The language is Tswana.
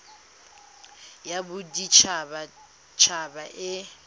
ya bodit habat haba e